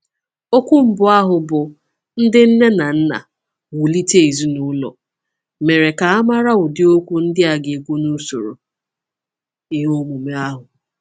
Okwu mbụ ahụ, bụ́ “Ndị Nne na Nna, Wulite Ezinụlọ,” mere ka a mara ụdị okwu ndị a ga-ekwu n’usoro ihe omume ahụ.